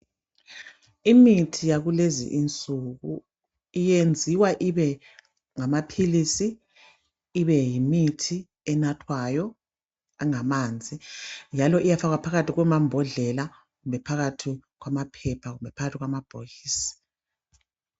Imithi yakulezi insuku yenziwa ibe ngamaphilisi, ibe yimithi enathwayo, engamanzi, njalo iyafakwa phakathi kwamambodlela, kumbe phakathi kwamaphepha, kumbe phakathi kwamabhokisi.